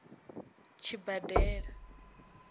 tshibadela